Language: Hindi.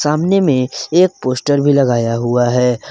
सामने में एक पोस्टर भी लगाया हुआ है।